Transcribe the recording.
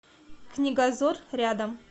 книгозор рядом